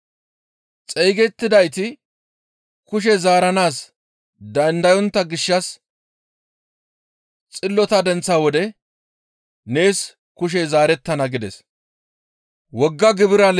Xeygettidayti kushe zaaranaas dandayontta gishshas xillota denththa wode nees kushey zaarettana» gides.